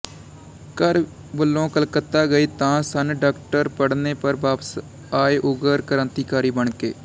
ਘਰ ਵਲੋਂ ਕਲਕੱਤਾ ਗਏ ਤਾਂ ਸਨ ਡਾਕਟਰੀ ਪਢਨੇ ਪਰ ਵਾਪਸ ਆਏ ਉਗਰ ਕਰਾਂਤੀਕਾਰੀ ਬਣਕੇ